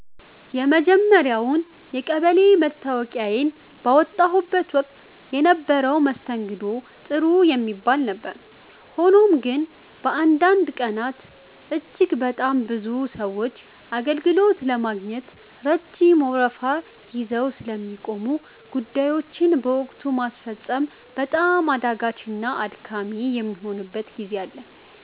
የመጀመርያውን የቀበሌ መታወቂያዬን ባወጣሁበት ወቅት የነበረው መስተንግዶ ጥሩ የሚባል ነበር። ሆኖም ግን፣ በአንዳንድ ቀናት እጅግ በጣም ብዙ ሰዎች አገልግሎት ለማግኘት ረጅም ወረፋ ይዘው ስለሚቆሙ፣ ጉዳዮችን በወቅቱ ማስፈጸም በጣም አዳጋችና አድካሚ የሚሆንበት ጊዜ አለ።